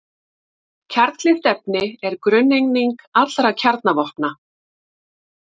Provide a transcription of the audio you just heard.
kjarnkleyft efni er grunneining allra kjarnavopna